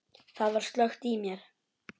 Það var slökkt í mér.